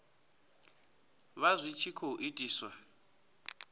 vha zwi tshi khou itiswa